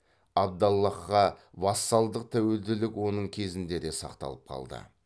абдаллахқа вассалдық тәуелділік оның кезінде де сақталып қалды